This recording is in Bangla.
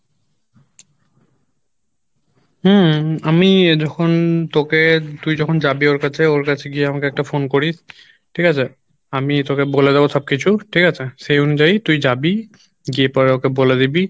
হম আমি যখন তোকে তুই যখন যাবি ওর কাছে ওর কাছে গিয়ে আমাকে একটা phone করিস ঠিক আছে আমি তোকে বলে দেবো সব কিছু ঠিক আছে সেই অনুযায়ী তুই যাবি গিয়ে পরে ওকে বলে দিবি